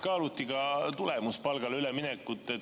Kas kaaluti ka tulemuspalgale üleminekut?